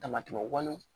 Damatɛmɛ walew